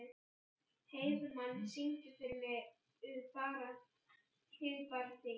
Heiðmann, syngdu fyrir mig „Þig bara þig“.